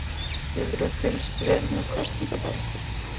Lillý: Hefurðu fylgst vel með kosningabaráttunni?